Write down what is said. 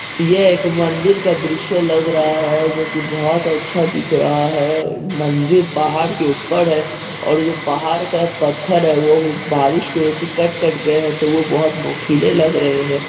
यह एक मंदिर का दृश्य लग रहा है जो की बहुत अच्छा दिख रहा है मंदिर पहाड़ के ऊपर है और जो पहाड़ का पत्थर है बारिश की बजह से कट कट गए है तो वो बहुत नुकीले लग रहे है।